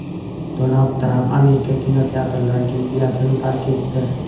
Donald Tramp Amerika kinoaktyorlar gildiyasini tark etdi.